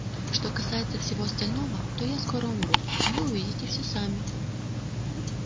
что касается всего остального то я скоро умру а вы увидите всё сами